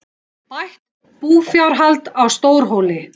Bætt búfjárhald á Stórhóli